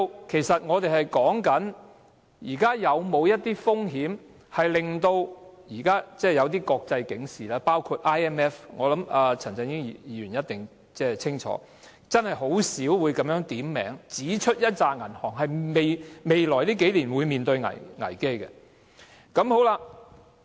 其實，我們要討論的是，香港現時是否正面對這些風險，包括 IMF—— 我相信陳振英議員一定清楚明白——等機構真的很少會點名指出某些銀行在未來數年會面對危機。